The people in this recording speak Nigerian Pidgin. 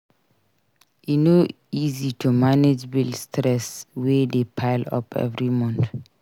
E no easy to manage bill stress wey dey pile up every month.